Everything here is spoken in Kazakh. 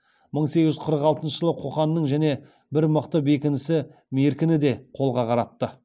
мың сегіз жүз қырық алтыншы жылы қоқанның және бір мықты бекінісі меркіні де қолға қаратты